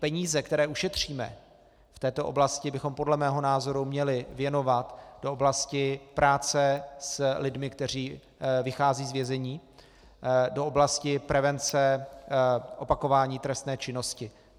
Peníze, které ušetříme v této oblasti, bychom podle mého názoru měli věnovat do oblasti práce s lidmi, kteří vycházejí z vězení, do oblasti prevence opakování trestné činnosti.